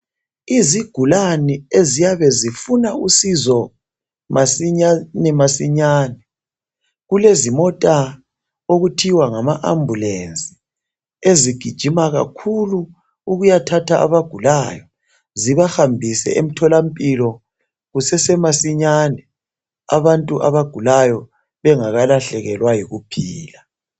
Izigulane eziyabe zifuna usizo masinyane masinyane, kulezimota okuthiwa ngama ambulense ezigijima kakhulu ukuyathatha abagulayo zibahambise emtholampilo kusese masinyane, abantu abagulayo bengakalahlekelwa yikuphila.